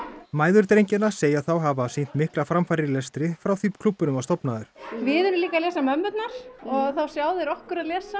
mæður drengjanna segja þá hafa sýnt miklar framfarir í lestri frá því klúbburinn var stofnaður við erum líka að lesa mömmurnar og þá sjá þeir okkur að lesa